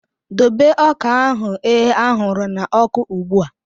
Dobe ọka ahụ e ahuru na oku ozugbo!